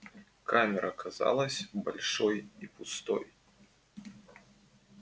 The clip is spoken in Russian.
камера казалась большой и пустой